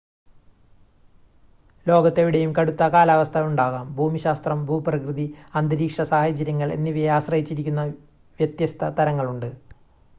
ലോകത്തെവിടെയും കടുത്ത കാലാവസ്ഥ ഉണ്ടാകാം ഭൂമിശാസ്ത്രം ഭൂപ്രകൃതി അന്തരീക്ഷ സാഹചര്യങ്ങൾ എന്നിവയെ ആശ്രയിച്ചിരിക്കുന്ന വ്യത്യസ്ത തരങ്ങളുണ്ട്